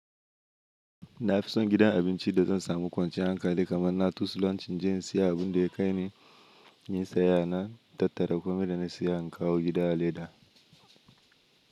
Nafison gidan abinci da zan samu kwanciyar hankali kamar na tusu lancin je in siya abunda ya kai ni inyin sayaya, na tattara komai da na siya in kawo gida a leda.